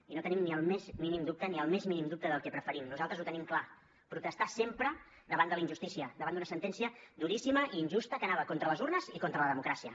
i no tenim ni el més mínim dubte ni el més mínim dubte del que preferim nosaltres ho tenim clar protestar sempre davant de la injustícia davant d’una sentència duríssima i injusta que anava contra les urnes i contra la democràcia